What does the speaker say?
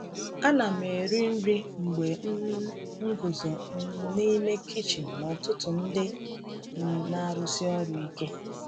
Ana m eri nri mgbe um m guzo um n’ime kichin n’ụtụtụ ndị um na-arụsi ọrụ ike.